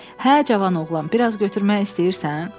Hə, cavan oğlan, biraz götürmək istəyirsən?